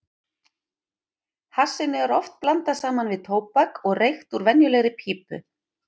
Hassinu er oft blandað saman við tóbak og reykt úr venjulegri pípu.